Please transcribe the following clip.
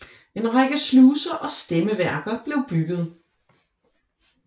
En række sluser og stemmeværker blev bygget